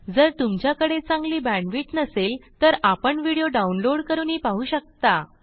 जर तुमच्याकडे चांगली बॅण्डविड्थ नसेल तर आपण व्हिडिओ डाउनलोड करूनही पाहू शकता